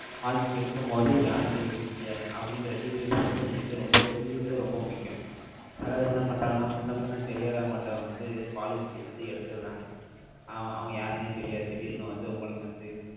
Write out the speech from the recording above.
policy எடுக்கும் போது, யார்கிட்ட எடுக்கீங்க? அப்படிங்கிற, details வந்து, நீங்க வந்து, ரொம்ப தெரிஞ்சுக்கிட்டது, ரொம்ப முக்கியம். சில பேர், என்ன பண்றாங்கன்னா, முன்ன, பின்ன, தெரியாதவங்கட்ட வந்து, policy ய வந்து, எடுத்து விடுறாங்க அவன் யாருன்னே தெரியாது. திடீர்ன்னு வந்து, உங்களுக்கு வந்து,